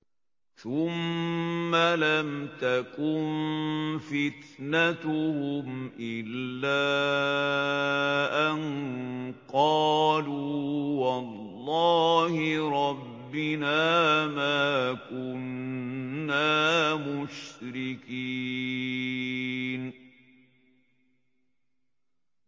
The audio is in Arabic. ثُمَّ لَمْ تَكُن فِتْنَتُهُمْ إِلَّا أَن قَالُوا وَاللَّهِ رَبِّنَا مَا كُنَّا مُشْرِكِينَ